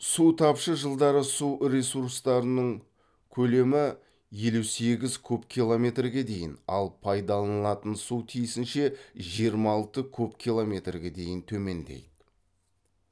су тапшы жылдары су ресурстарының көлемі елу сегіз куб километрге дейін ал пайдаланылатын су тиісінше жиырма алты куб километрге дейін төмендейді